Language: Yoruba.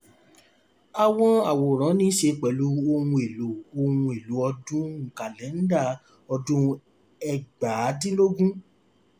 àwọn àwòran níṣe pẹ̀lú ohun èlò ohun èlò ọdún kàlẹ́nda ọdún ẹgbàádínlógún.